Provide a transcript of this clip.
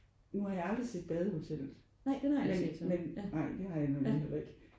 Nu har jeg aldrig set Badehotellet men men nej det har jeg nemlig heller ikke